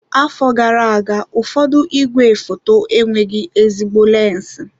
Afọ gara aga, ụfọdụ igwefoto enweghị ezigbo lensi.